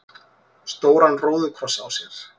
stóran róðukross á sér.